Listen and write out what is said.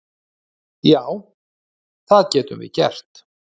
Já, það getum við gert.